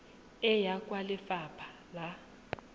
e ya kwa lefapha la